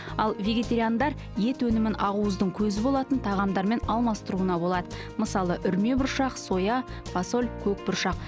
ал вегетариандар ет өнімін ақуыздың көзі болатын тағамдармен алмастыруға болады мысалы үрме бұршақ соя фасоль көк бұршақ